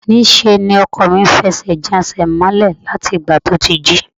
Níṣe ni ọkọ mi ń fi ẹsẹ̀ jan ẹsẹ̀ mọ́lẹ̀ láti ìgbà tí ó ti jí